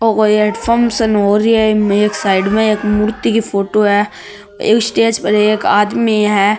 ओ कोई अठे फंक्शन हो रहियो है साइड में एक मूर्ति की फोटो है स्टेज पर एक आदमी है।